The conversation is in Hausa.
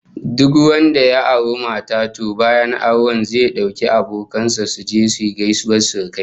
Duk wanda ya auri mata, to bayan auren zai dauki abokan sa su je gaisuwar surukai